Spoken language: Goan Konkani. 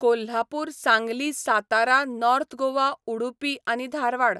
कोल्हापूर, सांगली, सातारा, नोर्थ गोवा, उडुपी आनी धारवाड